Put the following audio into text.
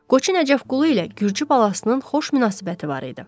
Qoçu Nəcəfqulu ilə Gürcü Balasının xoş münasibəti var idi.